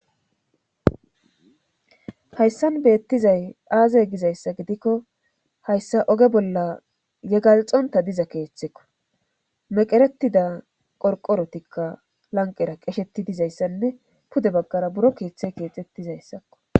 hayssan beettizay aaze gizayssa gidikko hayssa oge bolla yegalxonta diza keeththekko meqeretida qorqorotikka lanqera qesheti dizayssanne pude baggara buro keeththe keexettizayssakko